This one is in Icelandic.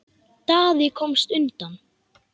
Daði komst undan.